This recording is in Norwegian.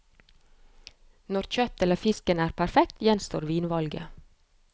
Når kjøttet eller fisken er perfekt, gjenstår vinvalget.